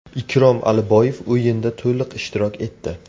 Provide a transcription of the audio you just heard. Ikrom Aliboyev o‘yinda to‘liq ishtirok etdi.